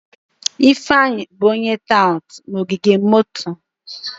Ifeanyi bụ onye tout na ogige moto.